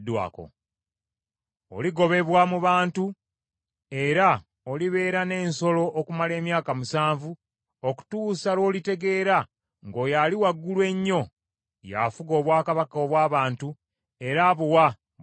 Oligobebwa mu bantu era olibeera n’ensolo okumala emyaka musanvu okutuusa lw’olitegeera ng’Oyo Ali Waggulu ennyo y’afuga obwakabaka obw’abantu era abuwa buli gw’asiima.”